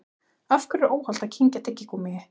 Af hverju er óhollt að kyngja tyggigúmmíi?